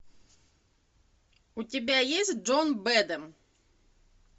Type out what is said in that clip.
у тебя есть джон бэдэм